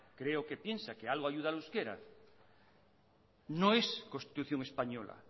creo que piensa que algo ayuda al euskera no es constitución española